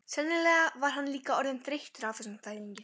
Sennilega var hann líka orðinn þreyttur á þessum þvælingi.